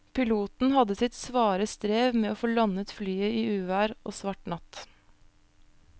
Piloten hadde sitt svare strev med å få landet flyet i uvær og svart natt.